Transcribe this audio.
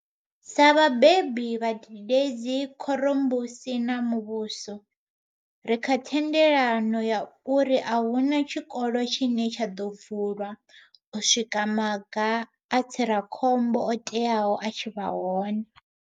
Sa vhabebi, vhadededzi, khorombusi na muvhuso, ri kha thendelano ya uri a hu na tshikolo tshine tsha ḓo vulwa u swika maga a tsira khombo o teaho a tshi vha hone.